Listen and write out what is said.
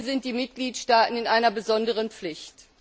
Hier sind die Mitgliedstaaten in einer besonderen Pflicht.